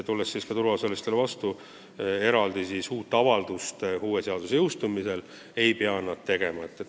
Tuleme turuosalistele vastu, uut avaldust nad uue seaduse jõustumisel ei pea tegema.